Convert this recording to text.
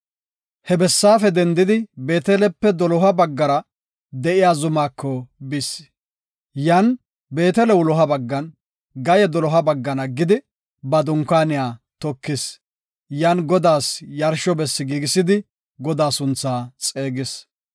He bessaafe dendidi Beetelepe doloha baggara de7iya zumako bis. Yan Beetele wuloha baggan, Gaye doloha baggan aggidi, ba dunkaaniya tokis; yan Godaas yarsho bessi giigisidi Godaa sunthaa xeegis.